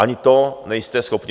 Ani to nejste schopni.